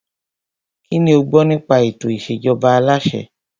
Kínní o gbọ́ nípa ètò ìṣèjọba aláṣẹ?